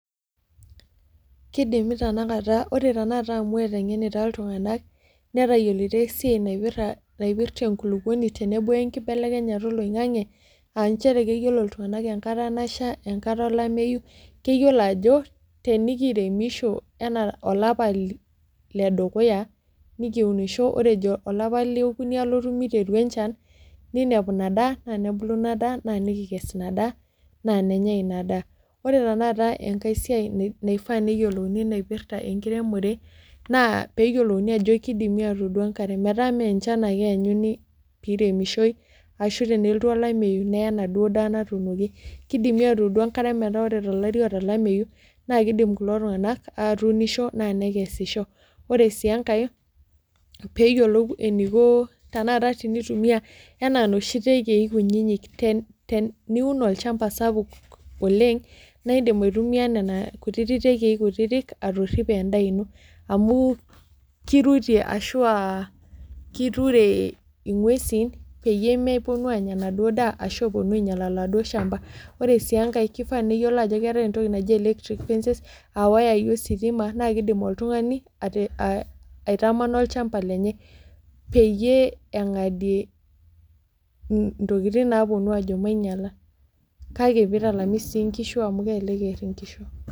Keidimi tenakata, wore tenakata amu etengenita iltunganak, netayiolito esiai naipirta enkuluponi tenebo enkibelekenyata oloingange, aa nchere keyiolo iltunganak enkata nasha, enkata olameyu, keyiolo ajo, tenikiremisho enaa olapa ledukuya, nikiunisho ore ejo olapa leeokuni alotu miteru enchan, niniapu inia daa , naa nebulu ina daa naa nikikess inia daa, naa nenyai inia daa. Wore tenakata enkae siai naifaa neyiolouni naipirta enkiremore, naa pee eyiolouni ajo kidimi aatuudu enkare, metaa mee enchan ake eenyuni pee iremishoi ashu tenelotu olameyu neye enaduo daa naatuunoki, kidimi aatuudu enkare metaa wore tolameyu, naa kiidim kulo tunganak atuunisho naa nekesisho. Wore sii enkae, pee eyiolouni eniko tenakata tenitumia enaa inoshi tekei kutitik. Teniun olchamba sapuk oleng', naa iindim aitumia niana kutitik tekei kutitik atoripie endaa ino. Amu kirutie ashu a kiturie inguesin peyie meponu aanya enaduo daa ashu eponu ainyial oladuo shamba. Wore sii enkae kifaa neyiolo ajo keeta entoki naji electric fences aa iwayai ositima naa kiidim oltungani aitamana olchamba lenye peyie engadie intokitin naaponu aajo manyiala, kake pee italami sii inkishu amu kelelek ear inkishu.